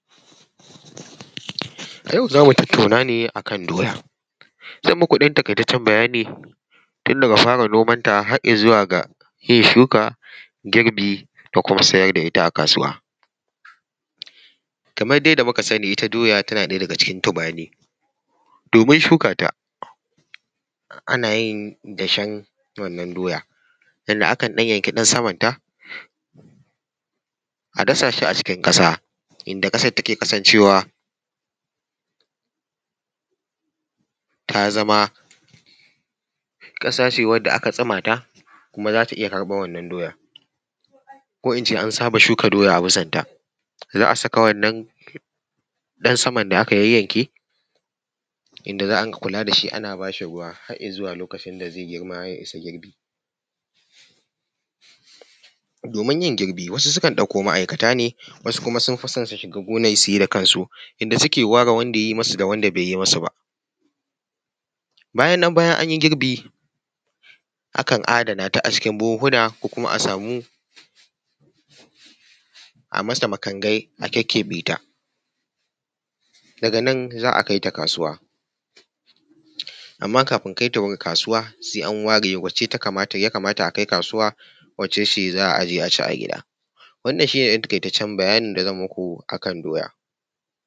A yau zamu tataunane a kan doya. Zan maku ɗan taƙaitaccen bayani tunda ga fara noman ta har izuwa ga yin shuka, girbi, da kuma siyar da ita a kasuwa. Kamar yanda muka sani ita doya tana ɗaya daga cikin tubani. Domin shuka ta ana yin dashan wannan doya, yanda akan ɗan yanki ɗan samanta a dasa shi a cikin ƙasa, inda ƙasan take kasancewa ta zama ƙasa ce wanda aka tsuma ta, kuma za ta iya karɓan wannan doyan ko in ce an saba shuka doya a bisan ta. Za a saka wannan ɗan sama da aka yayyanke. Inda za a dinga kula da shi. Ana ba shi ruwa har izuwa lokacin da zai girma ya isa girbi. Domin yin girbi wasu sukan ɗauko ma'aikata ne, wasu kuma sun fi son su shiga gona su yi da kansu, inda suke ware wanda yayi masu da wanda bai yi masu ba. Bayan nan, bayan an yi girbi akan adananta a cikin buhuhuna ko kuma a samu a yi masa makangai, a kyakkyeɓeta, daga nan za a kaita kasuwa. Amma kafin kaita kasuwa sai an ware wacce ya kamata a kaita kasuwa, da wace ce za a aje a ci a gida. Wannan shi ne ɗan taƙaitaccen bayanin da zan yi maku a kan doya.